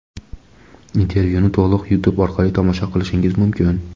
Intervyuni to‘liq Youtube orqali tomosha qilishingiz mumkin.